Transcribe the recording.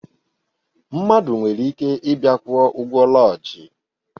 Mmadụ nwere ike ịbịa kwụọ ụgwọ lọjii